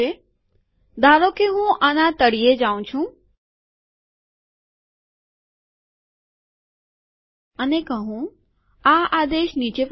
ધારો કે હું આના તળિયે જાઉં છું અને કહું આ આદેશ નીચે પ્રમાણે છે